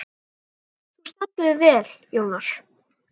Þú stendur þig vel, Jónar!